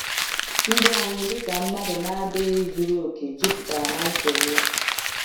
Ndụ anyị dịka mmadụ na-adịghị zuru oke juputara na nsogbu.